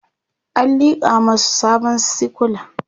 an liƙa masu sabon sikula